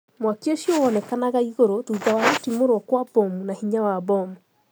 Mwaki ucio wonekanaga iguru thutha wa gutimurwo kwa bomu na hinya wa bomu.